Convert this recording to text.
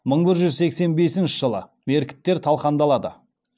мың бір жүз сексен бесінші жылы меркіттер талқандалады